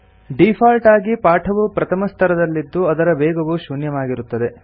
default ಆಗಿ ಪಾಠವು ಪ್ರಥಮಸ್ತರದಲ್ಲಿದ್ದು ಅದರ ವೇಗವು ಶೂನ್ಯವಾಗಿರುತ್ತದೆ